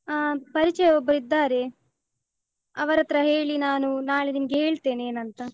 ಆ ಪರಿಚಯ ಒಬ್ಬರು ಇದ್ದಾರೆ. ಅವ್ರಹತ್ರ ಹೇಳಿ ನಾನೂ ನಾಳೆ ನಿಮ್ಗೆ ಹೇಳ್ತೇನೆ ಏನ್ ಅಂತ.